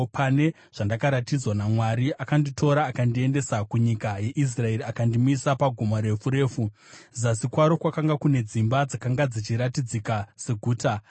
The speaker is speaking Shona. Pane zvandakaratidzwa naMwari akanditora akandiendesa kunyika yeIsraeri akandimisa pagomo refu refu, zasi kwaro kwakanga kune dzimba dzakanga dzichiratidzika seguta.